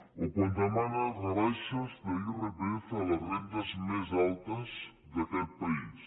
o quan demana rebaixes d’irpf a les rendes més altes d’aquest país